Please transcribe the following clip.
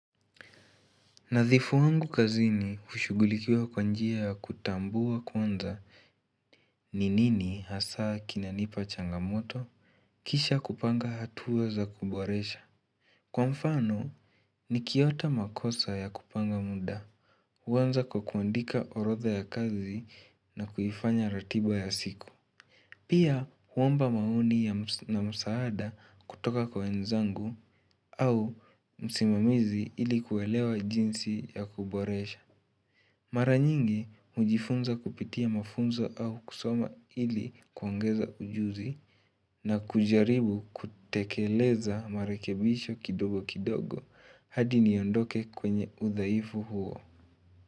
Nadhifu wangu kazini hushugulikiwa kwa njia ya kutambua kwanza ni nini hasaa kinanipa changamoto Kisha kupanga hatua za kuboresha. Kwa mfano nikiota makosa ya kupanga muda huanza kwa kuandika orodha ya kazi na kuifanya ratiba ya siku Pia huomba maoni na msaada kutoka kwa wenzangu au msimamizi ili kuelewa jinsi ya kuboresha Mara nyingi hujifunza kupitia mafunzo au kusoma ili kuongeza ujuzi na kujaribu kutekeleza marekebisho kidogo kidogo hadi niondoke kwenye udhaifu huo.